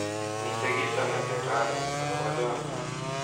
Miten kito neter raini akobo chamiet